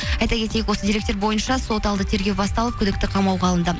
айта кетейік осы деректер бойынша сот алды тергеу басталып күдікті қамауға алынды